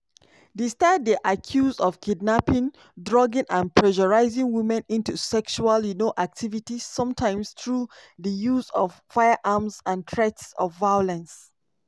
di star dey accused of kidnapping drugging and pressuring women into sexual um activities sometimes through di use of firearms and threats of violence.